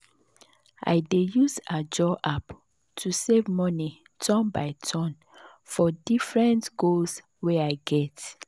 i dey use ajo app to save money turn by turn for different goals wey i get.